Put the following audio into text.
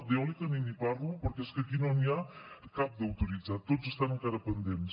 d’eòlica ni n’hi parlo perquè és que aquí no n’hi ha cap d’autoritzat tots estan encara pendents